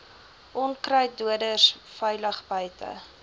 onkruiddoders veilig buite